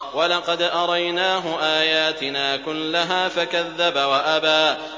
وَلَقَدْ أَرَيْنَاهُ آيَاتِنَا كُلَّهَا فَكَذَّبَ وَأَبَىٰ